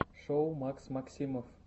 шоу макс максимов